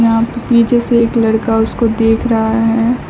यहां पे पीछे से एक लड़का उसको देख रहा है।